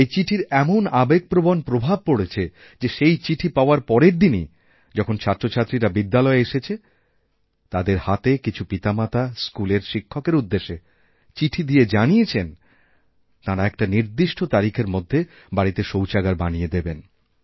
এই চিঠির এমন আবেগপ্রবণ প্রভাব পড়েছে যে সেই চিঠি পাওয়ার পরের দিনই যখনছাত্রছাত্রীরা বিদ্যালয়ে এসেছে তাদের হাতে কিছু পিতামাতা স্কুলের শিক্ষকেরউদ্দেশে চিঠি দিয়ে জানিয়েছেন তাঁরা একটা নির্দিষ্ট তারিখের মধ্যে বাড়িতে শৌচাগারবানিয়ে দেবেন